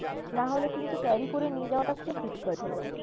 নাহলে কিন্তু carry করে নিয়ে যাওয়াটা খুব difficult হয়ে যাবে।